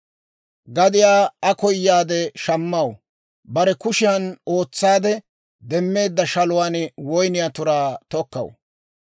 Gadiyaa Aa koyaadde shammaw; bare kushiyan ootsaade demmeedda shaluwaan woyniyaa turaa tokkaw.